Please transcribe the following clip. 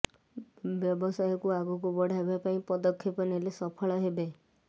ବ୍ୟବସାୟକୁ ଆଗକୁ ବଢାଇବା ପାଇଁ ପଦକ୍ଷେପ ନେଲେ ସଫଳ ହେବେ